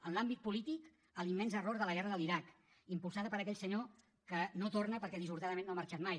en l’àmbit polític l’immens error de la guerra de l’iraq impulsada per aquell senyor que no torna perquè dissortadament no ha marxat mai